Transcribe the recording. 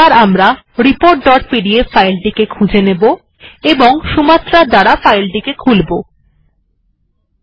এরপর report dot PDF file টিকে খুঁজে নেওয়া যাক এবং সুমাত্রা এর দ্বারা সেটিকে ওপেন করা যাক